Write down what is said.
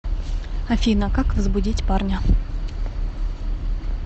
афина как возбудить парня